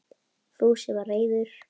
Fúsi var reiður.